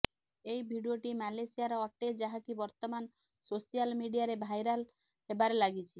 ଏହି ଭିଡ଼ିଓଟି ମାଲେସିଆର ଅଟେ ଯାହାକି ବର୍ତ୍ତମାନ ସୋସିଆଲ ମିଡିଆରେ ଭାଇରଲ ହେବାରେ ଲାଗିଛି